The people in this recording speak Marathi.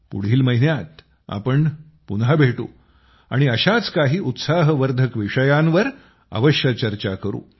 पुढील महिन्यात आम्ही पुन्हा भेटू आणि अशाच काही उत्साहवर्धक विषयांवर अवश्य चर्चा करू